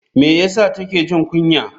Me ya sa take jin kunya?